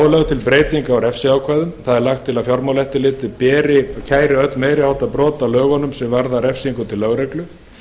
lögð til breyting á refsiákvæðum það er lagt er til að fjármálaeftirlitið kæri öll meiri háttar brot á lögunum sem varða refsingu til lögreglu en